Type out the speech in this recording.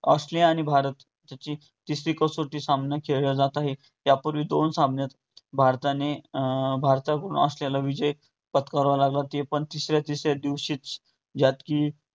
Australia आणि भारत याची तिसरी कसोटी सामना खेळला जात आहे. यापूर्वी दोन सामन्यात भारताने अं भारताकडून असलेला विजय पत्करावा लागला ते पण दुसऱ्या तिसऱ्या दिवशीच ज्यात कि